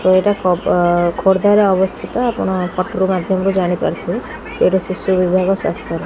ତ ଏଇଟା କୋ ଓ ଖୋର୍ଦ୍ଧାରେ ଅବସ୍ଥିତ ଆପଣ ପଟ୍ରୁ ମାଧ୍ଯମରୁ ଜାଣି ପାରୁଥୁବେ ସେଇଟା ଶିଶୁ ବିଭାଗ ସ୍ଵାସ୍ଥର।